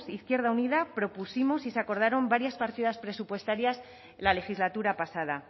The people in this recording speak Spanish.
izquierda unida propusimos y se acordaron varias partidas presupuestarias en la legislatura pasada